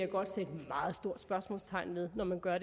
med